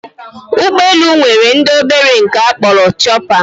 Ụgbọelu nwere ndị obere nke a kpọrọ chọpa